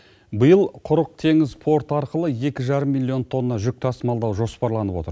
биыл құрық теңіз порты арқылы екі жарым миллион тонна жүк тасымалдау жоспарланып отыр